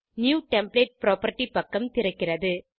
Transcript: new template property பக்கம் திறக்கிறது